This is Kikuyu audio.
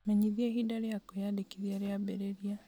menyithia ihinda rĩa kwĩyandĩkithia rĩambĩrĩria